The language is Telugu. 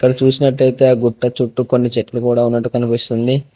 ఇక్కడ చుసినట్టయితే ఆ గుట్ట చుట్టూ కొన్ని చెట్లు గూడా ఉన్నట్టు కనిపిస్తుంది.